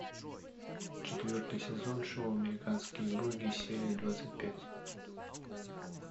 четвертый сезон шоу американские боги серия двадцать пять